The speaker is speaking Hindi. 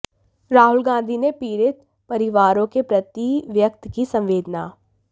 राहुल गांधी ने पीड़ित परिवारों के प्रति व्यक्त की संवेदना